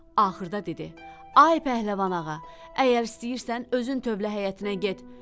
Axırda dedi: Ay pəhləvan ağa, əgər istəyirsən, özün tövlə həyətinə get.